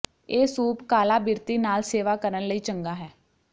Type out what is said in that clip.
ਇਹ ਸੂਪ ਕਾਲਾ ਬਿਰਤੀ ਨਾਲ ਸੇਵਾ ਕਰਨ ਲਈ ਚੰਗਾ ਹੈ